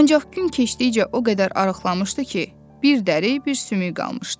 Ancaq gün keçdikcə o qədər arıqlamışdı ki, bir dəri, bir sümük qalmışdı.